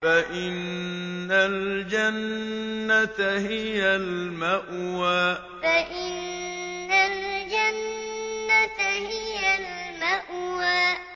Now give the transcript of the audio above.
فَإِنَّ الْجَنَّةَ هِيَ الْمَأْوَىٰ فَإِنَّ الْجَنَّةَ هِيَ الْمَأْوَىٰ